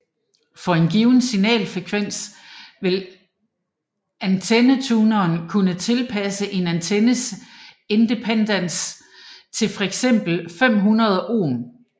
For en given signalfrekvens vil antennetuner kunne tilpasse en antennes impedans til fx 50 ohm